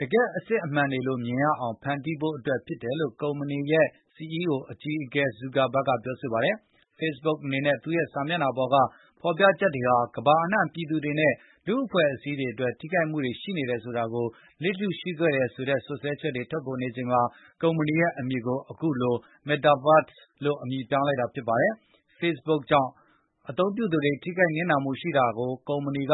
တကယ့်အစစ်အမှန်တွေလိုမြင်တွေ့ရအောင် ဖန်တီးဖို့ အတွက်ဖြစ်တယ်လို့ ကုမ္ပဏီရဲ့ CEO အကြီးအကဲ ဇူကာဘတ်က ပြောဆိုလိုက်ပါတယ်။ Facebook အနေနဲ့ သူ့ရဲ့စာမျက်နှာပေါ်ကဖေါ်ပြချက်တွေဟာ ကမ္ဘာအနှံပြည်သူတွေနဲ့ လူအဖွဲ့အစည်း တွေအတွက် ထိခိုက်မှုတွေရှိနေတာကို လစ်လျူရှုခဲ့တယ်ဆိုတဲ့စွပ်စွဲချက်တွေထွက်ပေါ်နေချိန်မှာ ကုမ္ပဏီရဲ့အမည်ကို အခုလို Metaverse လို့အမည်ပြောင်းလိုက်တာပါ။ Facebook ကြောင့် အသုံးပြုသူတွေ ထိခိုက်နစ်နာမှုတွေရှိ နေတာကို ကုမ္ပဏီအ